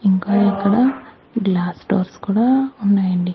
ఇంకా ఇక్కడ glass doors కూడా ఉన్నాయండి.